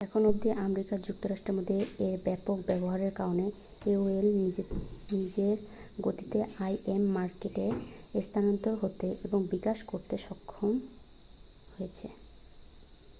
এখন অবধি আমেরিকা যুক্তরাষ্ট্রের মধ্যে এর ব্যাপক ব্যবহারের কারণে aol নিজের গতিতে im মার্কেটে স্থানান্তরিত হতে এবং বিকাশ করতে সক্ষম হয়েছে